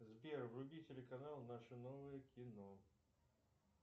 сбер вруби телеканал наше новое кино